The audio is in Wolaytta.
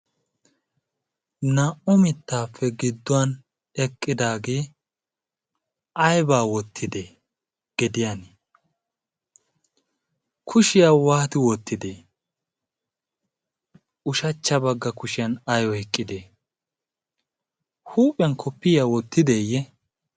naa'u mittaappe gidduwan eqqidaagee aibaa wottidee gediyan 'kushiyaa waati wottidee ushachcha bagga kushiyan aiyo hiqqidee huuphiyan koppiyaa wottideeyye?